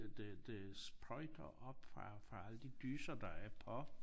Det det sprøjter op fra fra alle de dysser der er på